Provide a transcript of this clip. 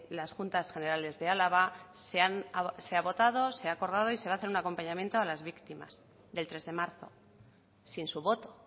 las juntas generales de álava se ha votado se ha acordado y se va hacer un acompañamiento a las víctimas del tres de marzo sin su voto